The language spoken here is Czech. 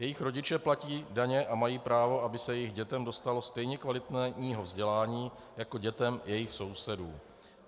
Jejich rodiče platí daně a mají právo, aby se jejich dětem dostalo stejně kvalitního vzdělání jako dětem jejich sousedů.